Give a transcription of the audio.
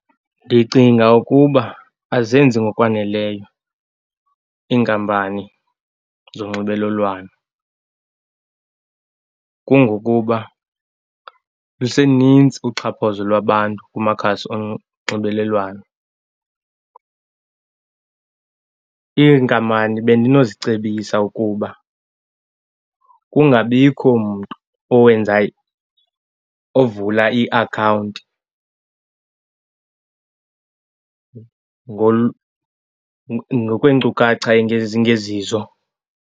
Ndicinga ukuba azenzi ngokwaneleyo iinkampani zonxibelelwano kungokuba luseninzi uxhaphazo lwabantu kumakhasi onxibelelwano. Iinkampani bendinozicebisa ukuba kungabikho mntu owenza, ovula iakhawunti ngokweenkcukacha ezingezizo.